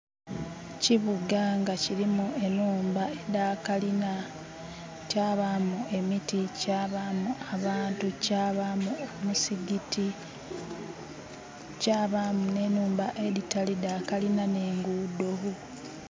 Ekibuga nga kilimu enhumba edha kalina kyabamu emiti, kyabamu abantu, kyabamu omuzigiti, kyabamu ne nhumba edhitali dha kalina n'engudho.